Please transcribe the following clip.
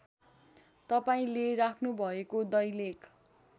तपाईँले राख्नुभएको दैलेख